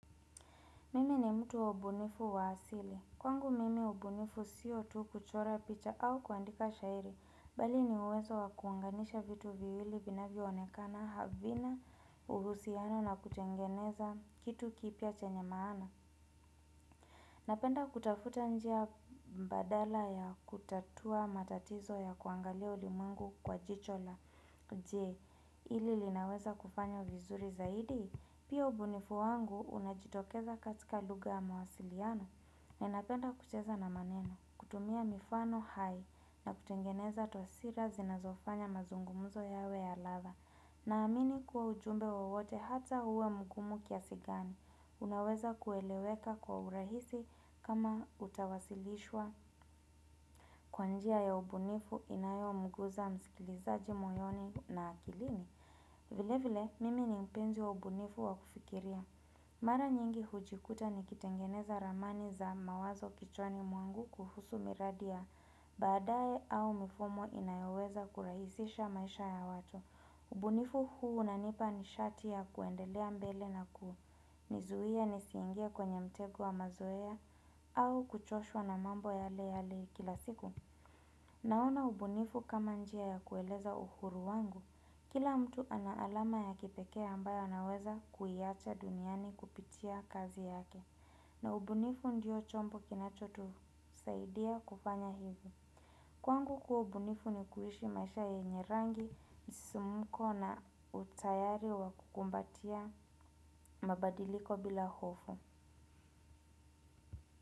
Mimi ni mtu wa ubunifu wa asili. Kwangu mimi ubunifu sio tu kuchora picha au kuandika shairi. Bali ni uwezo wa kuanganisha vitu viwili vinavyo onekana havina uhusiano na kutengeneza kitu kipya chenye maana. Napenda kutafuta njia mbadala ya kutatua matatizo ya kuangalia ulimwengu kwa jicho la je ili linaweza kufanya vizuri zaidi. Pia ubunifu wangu unajitokeza katika luga ya mawasiliano na inapenda kucheza na maneno, kutumia mifano hai na kutengeneza tosira zinazofanya mazungumuzo yawe ya ladha. Naamini kuwa ujumbe wowote hata uwe mgumu kiasigani. Unaweza kueleweka kwa urahisi kama utawasilishwa kwa njia ya ubunifu inayomguza mskilizaji moyoni na akilini. Vile vile, mimi ni mpenzi wa ubunifu wa kufikiria. Mara nyingi hujikuta ni kitengeneza ramani za mawazo kichwani mwangu kuhusu miradi ya. Badae au mfumo inayoweza kurahisisha maisha ya watu. Ubunifu huu unanipa ni shati ya kuendelea mbele nakunizuia ni siingie kwenye mtego wa mazoea au kuchoshwa na mambo yale ya kila siku. Naona ubunifu kama njia ya kueleza uhuru wangu. Kila mtu ana alama ya kipeke ambayo anaweza kuiacha duniani kupitia kazi yake na ubunifu ndio chombo kinacho tu saidia kufanya hivo Kwangu kuwa ubunifu ni kuishi maisha yenye rangi, msisimko na utayari wa kukumbatia mabadiliko bila hofu.